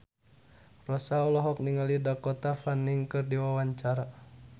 Rossa olohok ningali Dakota Fanning keur diwawancara